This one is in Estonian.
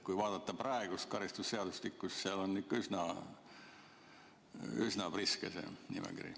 Kui vaadata praegust karistusseadustikku, siis seal on ikka üsna priske see nimekiri.